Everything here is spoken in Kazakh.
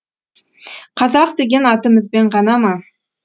қазақ деген атымызбен ғана ма